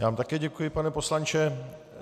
Já vám také děkuji, pane poslanče.